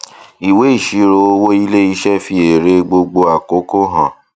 ìwé ìṣirò owó iléiṣẹ fi èrè gbogbo àkókò hàn